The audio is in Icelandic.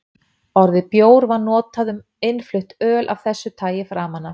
Orðið bjór var notað um innflutt öl af þessu tagi framan af.